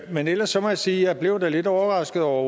men ellers må jeg sige at jeg da er lidt overrasket over